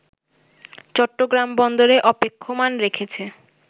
চট্টগ্রাম বন্দরে অপেক্ষমান রেখেছে